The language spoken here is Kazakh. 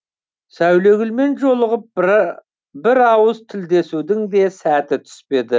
сәулегүлмен жолығып бір ауыз тілдесудің де сәті түспеді